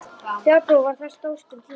Fjárbú var þar stórt um tíma.